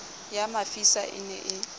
ya mafisa e ne e